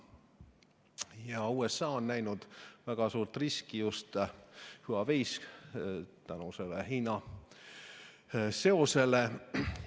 Ja USA on näinud väga suurt riski Huaweis just tänu sellele Hiina seosele.